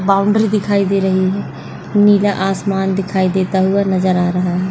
Boundary दिखाई दे रही है नीला आसमान दिखाई देता हुआ नज़र आ रहा है।